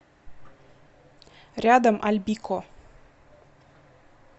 рядом альбико